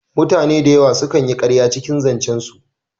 Mutane dayawa su kan yi ƙarya cikin zancen su